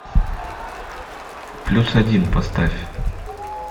плюс один поставь